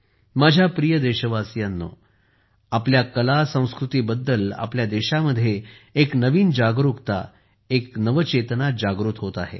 माझ्या प्रिय देशवासियांनो आपल्या कलासंस्कृतीबद्दल आपल्या देशामध्ये एक नवीन जागरुकता एक नव चेतना जागृत होत आहे